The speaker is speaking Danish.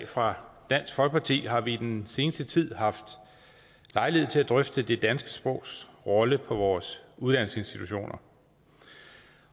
fra dansk folkeparti har vi den seneste tid haft lejlighed til at drøfte det danske sprogs rolle på vores uddannelsesinstitutioner